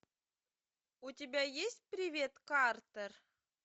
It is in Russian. у тебя есть привет картер